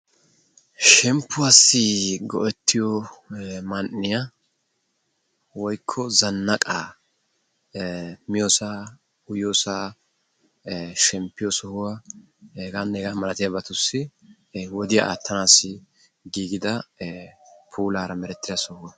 Shemmpuwaassi go"ettiyoo man"iyaa woykko zanaqqaa miyoosaa uyiyoosaa shemmpiyoo sohuwaa hegaanne hegaa malatiyaabatussi wodiyaa aattanassi giigida puulaara merettida soho.